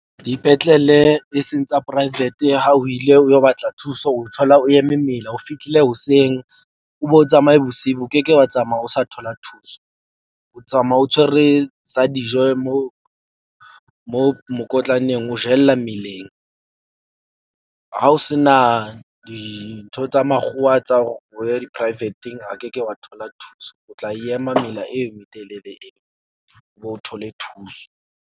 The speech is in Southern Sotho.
Dipetlele e seng tsa private, ha o ile o yo batla thuso, o thola o eme mela. O fihlile hoseng o be o tsamaye bosibu. O ke ke wa tsamaya o sa thola thuso. O tsamaya o tshwere sa dijo mo mo mokotlaneng o jella meleng. Ha o se na dintho tsa makgowa tsa hore o ye di-private-eng, a ke ke wa thola thuso. O tla ema mela e metelele e, o thole thuso.